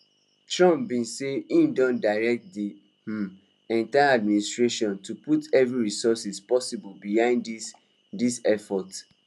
trump bin say im don direct di um entire administration to put every resource possible behind dis dis effort